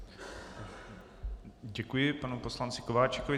Děkuji panu poslanci Kováčikovi.